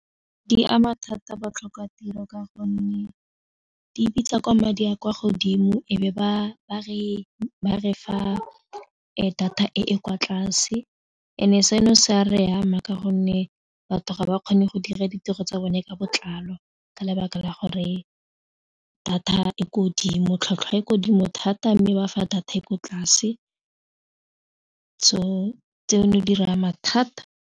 Di ama thata botlhokwa tiro ka gonne di bitsa kwa madi a kwa godimo e be ba re fa data e e kwa tlase and e seno se a re ama ka gonne batho ga ba kgone go dira ditiro tsa bone ka botlalo ka lebaka la gore data e ko dimo tlhwatlhwa e ko dimo thata mme ba fa data e ko tlase tseno di re ama thata.